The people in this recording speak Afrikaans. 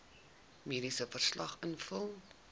mediese verslag invul